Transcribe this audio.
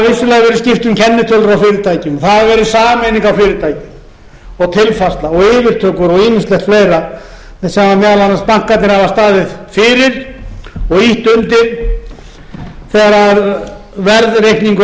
skipt um kennitölur á fyrirtækjum það hefur verið sameining á fyrirtækjum og tilfærsla og yfirtökur og ýmislegt fleira sem meðal annars bankarnir hafa staðið fyrir og ýtt undir þegar verðreikningur aflaheimildanna